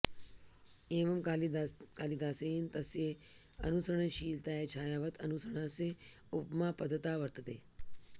एवं कालिदासेन तस्य अनुसरणशीलतायै छायावत् अनुसरणस्य उपमा पदत्ता वर्तते